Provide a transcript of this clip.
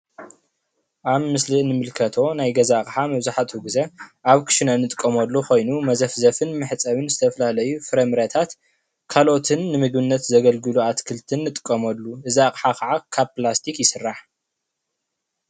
ኣብ ምስሊ ንምልከቶ ናይ ገዛ ኣቕሓ መብዛሕትኡ ግዘ ኣብ ክሽነ ንጥቀመሉ ኮይኑ መዘፍዘፍን መሕፀብን ዝተፈላለዩ ፍረምረታት ካልኦትን ንምግብነት ዘገልግሉ ኣትክልትን ንጥቀመሉ፡፡ እዚ ኣቕሓ ከዓ ካብ ፕላስቲክ ይስራሕ፡፡